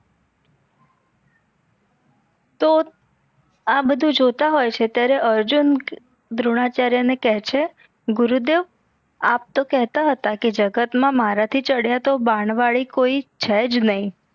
તો એ બધુ જોતાં હોય છે ત્યરેહ અર્જુન દ્રોણાચાર્ય ને કે છે ગુરુદેવ આપ તો કહતતા હતા કે જગત મા મારા થી ચડિયા તો બાણવાડી કોઈ છેજ નઈ